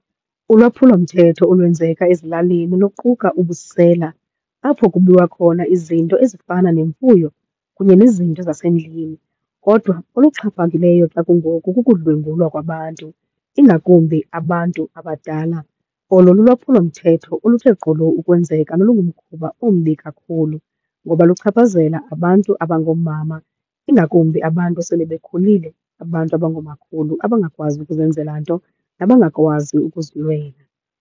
Ulwaphulomthetho olwenzeka ezilalini luquka ubusela apho kubiwa khona izinto ezifana nemfuyo kunye nezinto zasendlini. Kodwa oluxhaphakileyo xa kungoku kukudlwengulwa kwabantu, ingakumbi abantu abadala. Olo lulwaphulomthetho oluthe gqolo ukwenzeka nolungumkhuba ombi kakhulu ngoba luchaphazela abantu abangoomama ingakumbi abantu asele bekhulile, abantu abangoomakhulu, abangakwazi ukuzenzela nto nabangakwazi ukuzilwela.